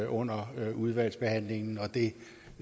under udvalgsbehandlingen og det